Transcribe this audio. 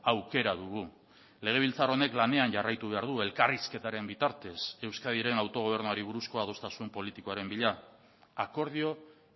aukera dugu legebiltzar honek lanean jarraitu behar du elkarrizketaren bitartez euskadiren autogobernuari buruzko adostasun politikoaren bila akordio